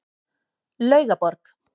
Laugaborg